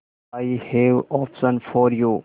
I have option for you